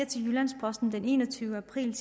til jyllands posten den enogtyvende april